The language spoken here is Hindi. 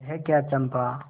यह क्या चंपा